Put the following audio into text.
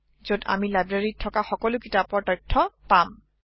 যত আমি লাইব্ৰেৰীত থকা সকলো কিতাপৰ তথ্য পাম